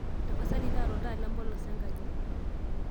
tapasali taaraoltaa lempolos enkaji